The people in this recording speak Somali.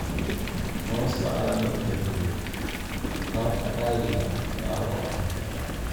Hoosta calaamadda Guud (taabka caadiga ah) taabo afar.